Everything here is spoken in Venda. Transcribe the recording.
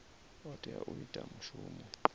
o tea u ita mushumo